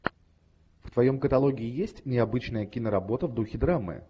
в твоем каталоге есть необычная киноработа в духе драмы